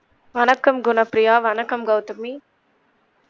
வணக்கம் குணப்ப்ரியா வணக்கம் கவுதமி